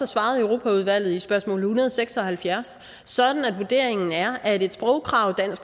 svaret europaudvalget på spørgsmål en hundrede og seks og halvfjerds sådan at vurderingen er at et sprogkrav